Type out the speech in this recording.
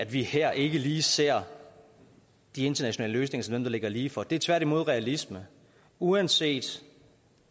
vi her ikke lige ser de internationale løsninger som dem der ligger lige for det er tværtimod realisme uanset